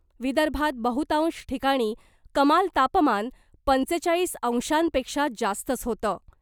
विदर्भात बहुतांश ठिकाणी कमाल तापमान पंचेचाळीस अंशांपेक्षा जास्तच होतं .